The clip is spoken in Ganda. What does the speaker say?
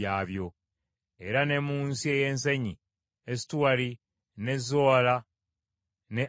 Era ne mu nsi ey’ensenyi Esutaoli, n’e Zola, n’e Asuna,